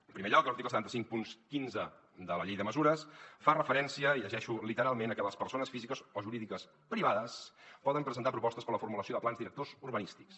en primer lloc l’article set mil cinc cents i quinze de la llei de mesures fa referència i ho llegeixo literalment a que les persones físiques o jurídiques privades poden presentar propostes per a la formulació de plans directors urbanístics